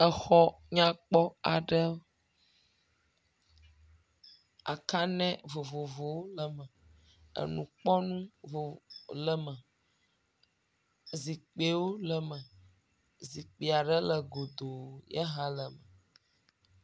Exɔ nyakpɔ aɖe, akan0 vovovowo le eme, enukpɔnɔ vovo le eme, zikpiwo le eme, Zikpui aɖe le godo ye hã le eme.